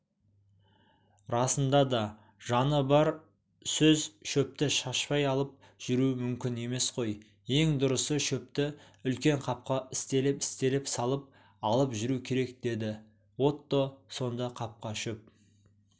расында да жаны бар сөз шөпті шашпай алып жүру мүмкін емес қой ең дұрысы шөпті үлкен қапқа істелеп-істелеп салып алып жүру керек деді отто сонда қапқа шөп